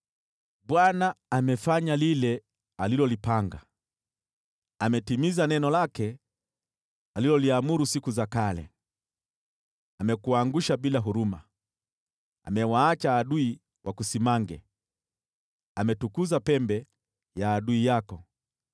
Bwana amefanya lile alilolipanga; ametimiza neno lake aliloliamuru siku za kale. Amekuangusha bila huruma, amewaacha adui wakusimange, ametukuza pembe ya adui yako.